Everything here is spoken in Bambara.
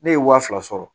Ne ye wa fila sɔrɔ